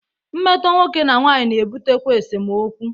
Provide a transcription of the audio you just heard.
Mmetọ nwoke na nwanyị na ebutekwa esemokwu.